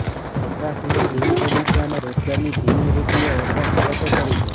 વપરાશ માંગ ધીમી પડી છે અને રોજગારની ધીમી વૃદ્ધિએ વપરાશ પર અસર કરી છે